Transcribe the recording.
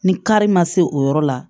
Ni kari ma se o yɔrɔ la